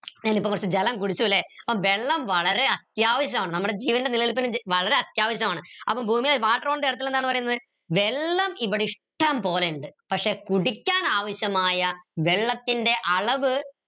ഞാനിപ്പം കൊറച്ച് ജലം കുടിച്ചു ല്ലെ വെള്ളം വളരെ അത്യാവശ്യമാണ് നമ്മുടെ ജീവൻറെ നിലനിൽപ്പിന് വളരെ അത്യാവശ്യമാണ് അപ്പൊ ഭൂമിയിൽ wate earth ൽ എന്താണ് പറീന്നത് വെള്ളം ഇവിടെ ഇഷ്ടം പോലെയുണ്ട് പക്ഷേ കുടിക്കാൻ ആവശ്യമായ വെള്ളത്തിൻറെ അളവ്